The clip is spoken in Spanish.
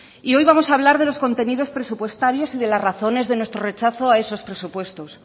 hoy vamos a hablar de los contenidos presupuestarios y de las razones de nuestro rechazo a esos presupuestos